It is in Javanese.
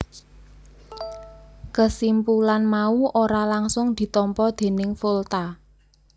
Kesimpulan mau ora langgsung ditampa déning Volta